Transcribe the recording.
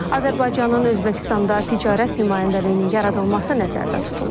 Azərbaycanın Özbəkistanda ticarət nümayəndəliyinin yaradılması nəzərdə tutulur.